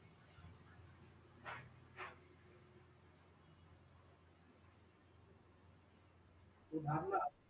उधरणार